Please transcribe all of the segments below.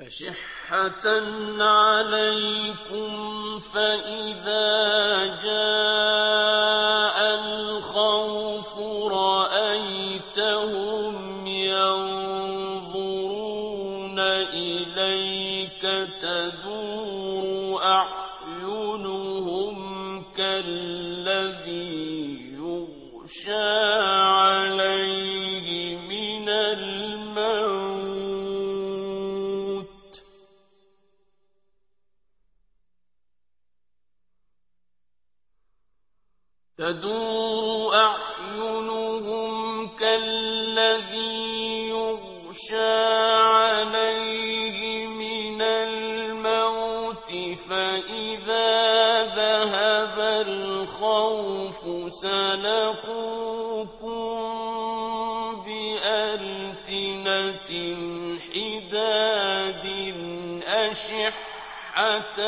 أَشِحَّةً عَلَيْكُمْ ۖ فَإِذَا جَاءَ الْخَوْفُ رَأَيْتَهُمْ يَنظُرُونَ إِلَيْكَ تَدُورُ أَعْيُنُهُمْ كَالَّذِي يُغْشَىٰ عَلَيْهِ مِنَ الْمَوْتِ ۖ فَإِذَا ذَهَبَ الْخَوْفُ سَلَقُوكُم بِأَلْسِنَةٍ حِدَادٍ أَشِحَّةً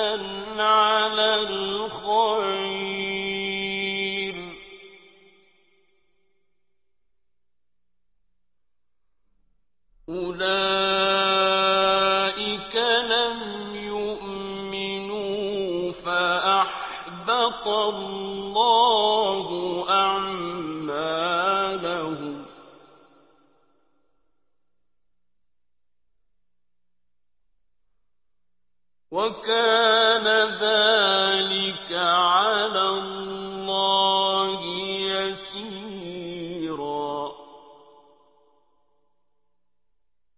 عَلَى الْخَيْرِ ۚ أُولَٰئِكَ لَمْ يُؤْمِنُوا فَأَحْبَطَ اللَّهُ أَعْمَالَهُمْ ۚ وَكَانَ ذَٰلِكَ عَلَى اللَّهِ يَسِيرًا